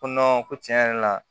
Ko ko tiɲɛ yɛrɛ la